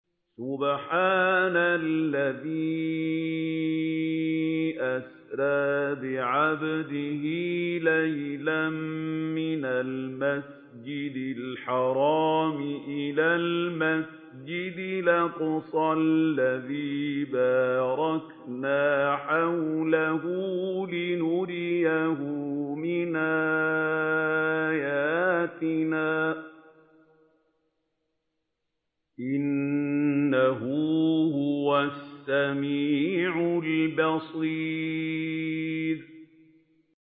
سُبْحَانَ الَّذِي أَسْرَىٰ بِعَبْدِهِ لَيْلًا مِّنَ الْمَسْجِدِ الْحَرَامِ إِلَى الْمَسْجِدِ الْأَقْصَى الَّذِي بَارَكْنَا حَوْلَهُ لِنُرِيَهُ مِنْ آيَاتِنَا ۚ إِنَّهُ هُوَ السَّمِيعُ الْبَصِيرُ